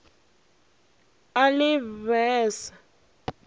a le b e se